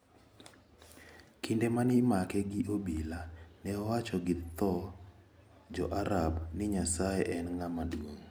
Kinde ma ne imake gi obila, ne owacho gi dho jo Arab ni Nyasaye en ng`ama duong`.